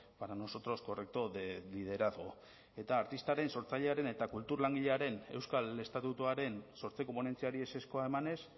para nosotros correcto de liderazgo eta artistaren sortzailearen eta kultur langilearen euskal estatutuaren sortzeko ponentziari ezezkoa emanez